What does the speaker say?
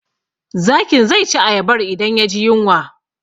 Zakin zai ci ayabar idan ya ji yunwa